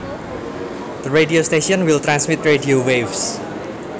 The radio station will transmit radio waves